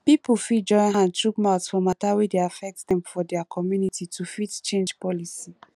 pipo fit join hand chook mouth for mata wey dey affect dem for their community to fit change policy